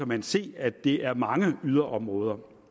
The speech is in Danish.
man se at det er mange yderområder